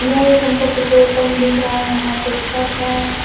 यह एक हमको एक पेट्रोल पंप दिख रहा है यहां पे छत है।